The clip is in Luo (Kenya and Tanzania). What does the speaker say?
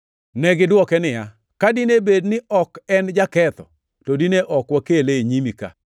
Negidwoke niya, “Ka dine bed ni ok en jaketho, to dine ok wakele e nyimi ka.”